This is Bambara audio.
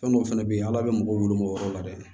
Fɛn dɔw fɛnɛ bɛ ye ala bɛ mɔgɔw weele o yɔrɔ la dɛ